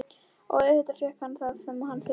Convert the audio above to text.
Og auðvitað fékk hann það sem hann þurfti.